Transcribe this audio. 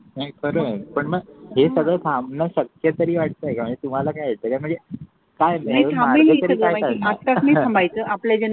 हे खर आहे पण हे सगळं थांबण शक्य तरी वाटतय का म्हणजे तुम्हाला काय वाटत म्हणजे